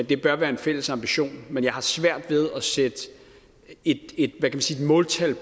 det bør være en fælles ambition men jeg har svært ved at sætte et måltal